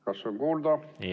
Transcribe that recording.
Kas on kuulda?